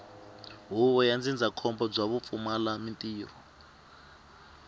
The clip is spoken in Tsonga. huvo ya ndzindzakhombo bya vupfumalantirho